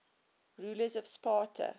rulers of sparta